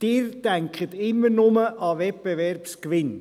Sie denken immer nur an den Wettbewerbsgewinn.